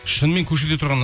шынымен көшеде тұрған